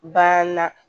Banna